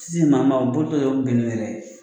Si maa ma u bolitɔ yɛrɛ bɛ bin u yɛrɛ ye